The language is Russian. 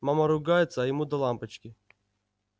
мама ругается а ему до лампочки